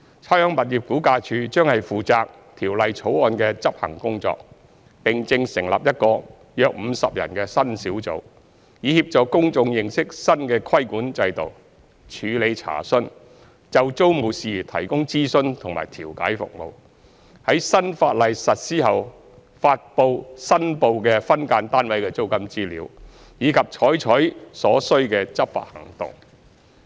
差餉物業估價署將負責《條例草案》的執行工作，並正成立一個約50人的新小組，以協助公眾認識新的規管制度；處理查詢；就租務事宜提供諮詢和調解服務；在新法例實施後發布申報的分間單位的租金資料；以及採取所需的執法行動。